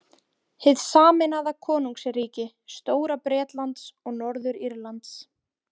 Hið sameinaða konungsríki Stóra-Bretlands og Norður-Írlands.